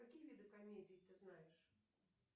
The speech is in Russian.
какие виды комедий ты знаешь